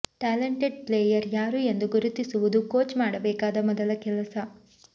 talented player ಯಾರು ಎಂದು ಗುರುತಿಸುವುದು ಕೋಚ್ ಮಾಡಬೇಕಾದ ಮೊದಲ ಕೆಲಸ